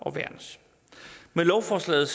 med lovforslaget